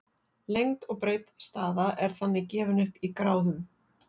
lengd og breidd staða er þannig gefin upp í gráðum